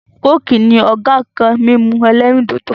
"coke" ni Ọ̀gá nkan mímu ẹlẹ́rìndòdò